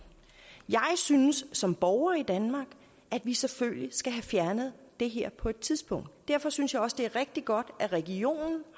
jeg synes som borger i danmark at vi selvfølgelig skal have fjernet det her på et tidspunkt derfor synes jeg også det er rigtig godt at regionerne